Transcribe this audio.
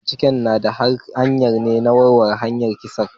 Mai binciken da na haya ne ya warware harkan kisan.